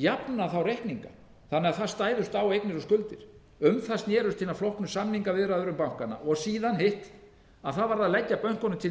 jafna reikningana þannig að það stæðust á eignir og skuldir um það snerust hinar flóknu samningaviðræður um bankana síðan hitt að það varð að leggja bönkunum til